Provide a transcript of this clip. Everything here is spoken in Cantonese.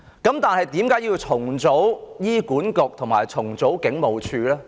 但為何要重組醫管局和警務處呢？